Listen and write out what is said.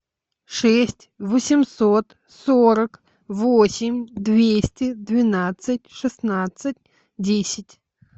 шесть восемьсот сорок восемь двести двенадцать шестнадцать десять